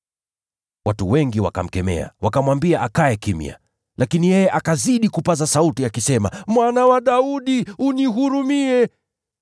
Watu wengi wakamkemea, wakamwambia akae kimya, lakini yeye akazidi kupaza sauti, akisema, “Mwana wa Daudi, nihurumie!”